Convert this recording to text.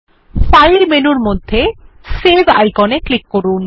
file মেনুর মধ্যে save icon এ ক্লিক করুন